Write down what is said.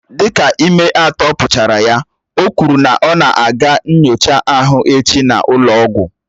Dịka ime atọ pụchara ya, o kwuru na ọ na aga nyochaa ahụ echi n'ụlọ ọgwụ